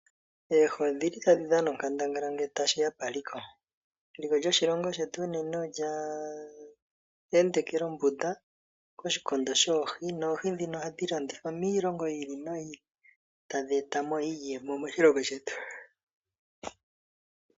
Oohi odhili tadhi dhana onkandangala ngele tashi ya paliko. Eliko lyoshilongo shetu unene olya endekela ombunda koshikondo shoohi, noohi ndhino ohadhi landithwa miilongo yiili noyiili tadhi eta mo eliko moshilongo shetu.